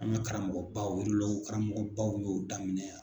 An ka karamɔgɔ baw karamɔgɔ baw y'o daminɛ.